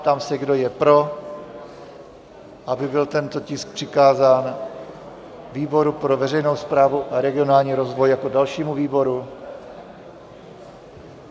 Ptám se, kdo je pro, aby byl tento tisk přikázán výboru pro veřejnou správu a regionální rozvoj jako dalšímu výboru?